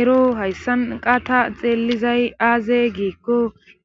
ero hayssan qas ta xeellizay aaze giikko